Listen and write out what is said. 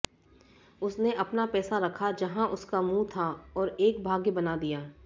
उसने अपना पैसा रखा जहां उसका मुंह था और एक भाग्य बना दिया